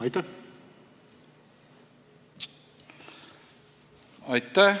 Aitäh!